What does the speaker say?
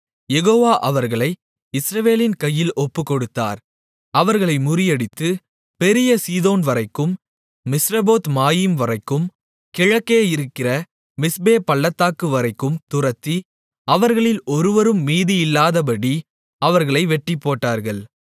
யெகோவா அவர்களை இஸ்ரவேலின் கையில் ஒப்புக்கொடுத்தார் அவர்களை முறியடித்து பெரிய சீதோன்வரைக்கும் மிஸ்ரபோத்மாயீம்வரைக்கும் கிழக்கே இருக்கிற மிஸ்பே பள்ளத்தாக்குவரைக்கும் துரத்தி அவர்களில் ஒருவரும் மீதியில்லாதபடி அவர்களை வெட்டிப்போட்டார்கள்